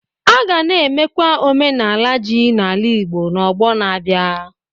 A ga na-emekwa n'omenala ji na ala Igbo n'ọgbọ na-abịa.